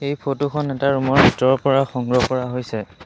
এই ফটো খন এটা ৰুম ৰ ভিতৰৰ পৰা সংগ্ৰহ কৰা হৈছে।